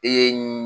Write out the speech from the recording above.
Ee